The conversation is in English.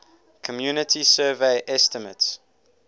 community survey estimates